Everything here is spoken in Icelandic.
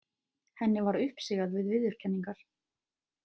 Henni var uppsigað við viðurkenningar.